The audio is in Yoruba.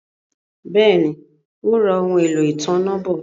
Béèni, Ó ra ohun-èlò ìtanná bọ̀